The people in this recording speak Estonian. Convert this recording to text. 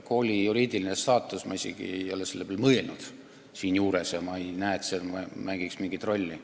Kooli juriidilise staatuse peale ma ei ole selle teemaga seoses mõelnud, ma ei näe, et see mängiks mingit rolli.